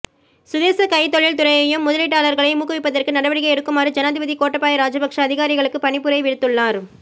சுதேச கைத்தொழில் துறையையும் முதலீட்டாளர்களையும் ஊக்குவிப்பதற்கு நடவடிக்கை எடுக்குமாறு ஜனாதிபதி கோட்டாபய ராஜபக்ஷ அதிகாரிகளுக்கு பணிப்புரை விடுத்துள்ளார்